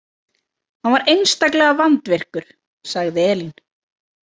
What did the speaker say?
Hann var einstaklega vandvirkur, sagði Elín.